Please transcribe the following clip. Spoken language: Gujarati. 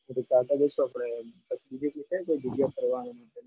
એટલે ચાલતા જઈશું આપણે બીજી બીજી કઈ જગ્યાઓ ફરવાની છે?